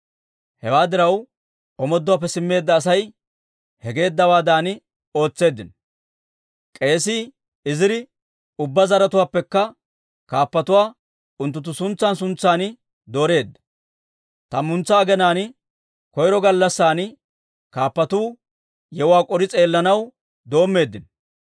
Hewaa diraw, omooduwaappe simmeedda Asay he geeddawaadan ootseeddino. K'eesii Iziri ubbaa zaratuwaappekka kaappatuwaa unttunttu suntsan suntsan dooreedda. Tammantsa aginaan koyro gallassan kaappatuu yewuwaa k'ori s'eellanaw doommeeddino.